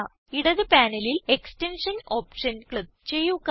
ഇടത് പാനലിൽ extension option click ചെയ്യുക